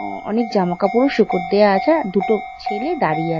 অ-অনেক জামা কাপড় শুকতে দেওয়া আছে। আর দুটো ছেলে দাঁড়িয়ে আছে।